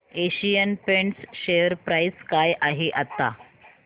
Asian Paints share price काय आहे आता